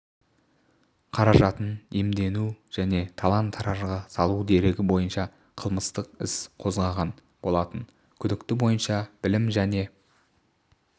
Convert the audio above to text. қаражатын иемдену және талан-таражға салу дерегі бойынша қылмыстық іс қозғаған болатын күдік бойынша білім және